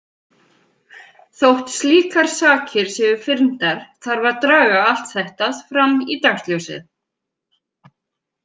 Þótt slíkar sakir séu fyrndar þarf að draga allt þetta fram í dagsljósið.